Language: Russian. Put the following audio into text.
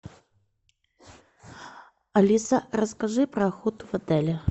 алиса расскажи про охоту в отеле